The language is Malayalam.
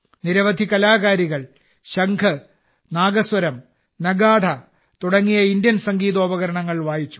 നിരവധി കലാകാരികൾ ശംഖ് നാദസ്വരം നഗാഢ തുടങ്ങിയ ഇന്ത്യൻ സംഗീതോപകരണങ്ങൾ വായിച്ചു